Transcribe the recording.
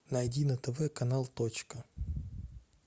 найди на тв канал точка